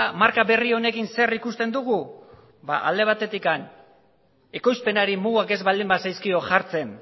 marka berri honekin zer ikusten dugu ba alde batetik ekoizpenari mugak ez baldin bazaizkio jartzen